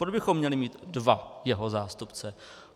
Proč bychom měli mít dva jeho zástupce?